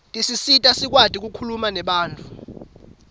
tisisita sikwati kukhuluma nebantfu